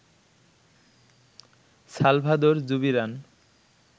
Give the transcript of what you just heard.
Salvador Zubiran